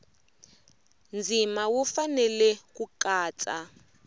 ndzima wu fanele ku katsa